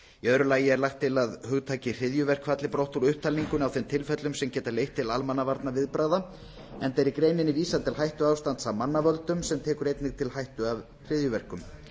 öðru lagi er lagt til að hugtakið hryðjuverk falli brott úr upptalningu á þeim tilfellum sem geta leitt til almannavarnaviðbragða enda er í greininni vísað til hættuástands af mannavöldum sem tekur einnig til hættu af hryðjuverkum